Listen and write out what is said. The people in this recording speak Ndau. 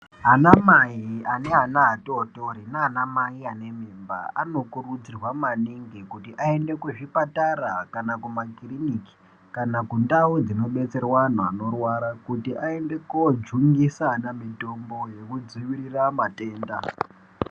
Anamai ane ana atotori neanamai ane mimba anokurudzirwa maningi kuti aende kuzvipatara kana kumakiriniki kana kundau dzinobetserwe antu anorwara. Kuti aende kojungisa ana mitombo yekudzivirira matenda.